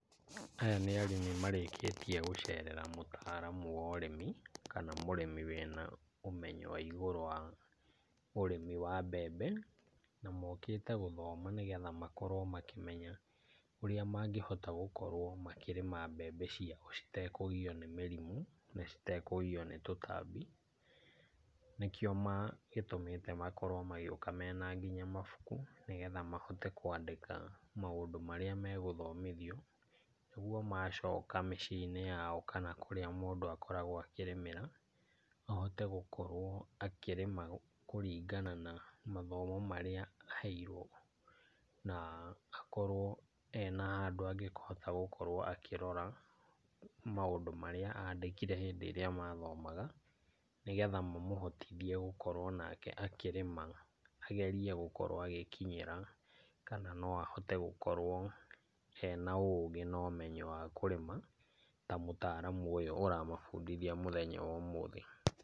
Aya nĩ arĩmi marĩkĩtie gũcerera mũtaaramu wa ũrĩmi, kana mũrĩmi wĩna ũmenyo wa igũrũ wa ũrĩmi wa mbembe. Na mokĩte gũthoma nĩ getha makorwo makĩmenya ũrĩa mangĩhota gũkorwo makĩrĩma mbembe ciao citekũgio nĩ mĩrimũ na citekũgio nĩ tũtambi. Nĩkĩo gĩtũmite makorwo magĩũka mena nginya mabuku nĩ getha mahote kwandĩka maũndũ marĩa magũthomithio nĩguo macoka mĩciĩ-inĩ yao kana kũrĩa mũndũ akoragwo akĩrĩmĩra ahote gũkorwo akĩrĩma kũringana na mathomo marĩa aheirwo, na akorwo ena handũ angĩhota gũkorwo akĩrora maũndũ maría andĩkire hĩndĩ ĩrĩa mathomaga nĩgetha mamũhotithie gũkorwo nake akĩrĩma, agerie gũkorwo agĩkinyĩra kana no ahote gũkorwo ena ugĩ na ũmenyo wa kũrĩma ta mũtaramu ũyũ ũramabundithia mũthenya wa ũmũthĩ.